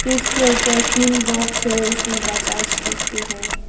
इसके ऊपर तीन बॉक्स है उसमें बजाज स्टिंक हैं।